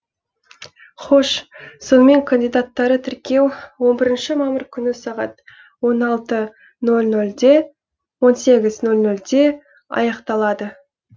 хош сонымен кандидаттары тіркеу он бірінші мамыр күні сағат он сегіз нөл нөлде аяқталады